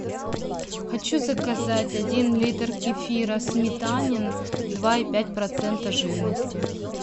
хочу заказать один литр кефира сметанин два и пять процента жирности